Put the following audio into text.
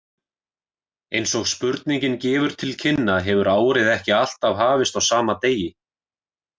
Eins og spurningin gefur til kynna hefur árið ekki alltaf hafist á sama degi.